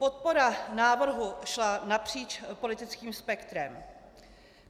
Podpora návrhu šla napříč politickým spektrem.